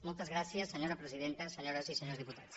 moltes gràcies senyora presidenta senyores i senyors diputats